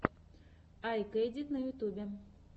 у тебя есть мастер класс маниии кэтс